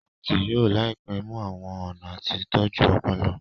sáyẹnsì yóò láìpé mú àwọn ọnà àti tọjú Ọpọlọ.